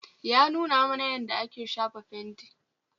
Yanuna mana yanda ake shafa fenti